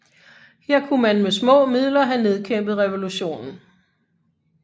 Her kunne man med små midler have nedkæmpet revolutionen